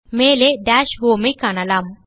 மேலே DashHomeஐ காணலாம்